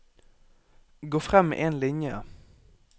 Gå frem én linje